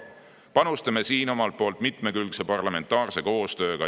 Panustame siin omalt poolt mitmekülgse parlamentaarse koostööga.